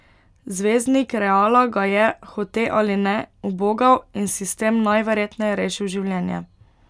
Zvezdnik Reala ga je, hote ali ne, ubogal in si s tem najverjetneje rešil življenje.